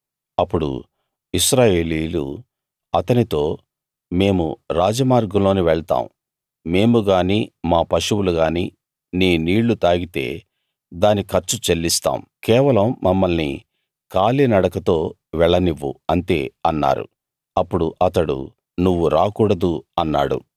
అప్పుడు ఇశ్రాయేలీయులు అతనితో మేము రాజమార్గంలోనే వెళ్తాం మేము గాని మా పశువులుగాని నీ నీళ్లు తాగితే దాని ఖర్చు చెల్లిస్తాం కేవలం మమ్మల్ని కాలినడకతో వెళ్లనివ్వు అంతే అన్నారు అప్పుడు అతడు నువ్వు రాకూడదు అన్నాడు